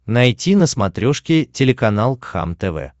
найти на смотрешке телеканал кхлм тв